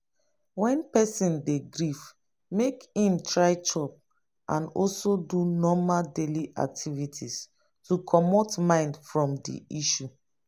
when person dey grief make im try chop and also do normal daily activities to comot mind from di issue